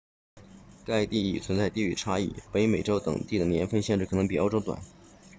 该定义存在地域差异北美洲等地的年份限制可能比欧洲短